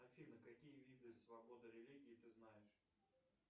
афина какие виды свободы религии ты знаешь